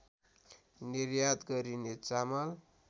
निर्यात गरिने चामल